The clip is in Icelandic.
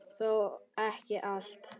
Þó ekki allt.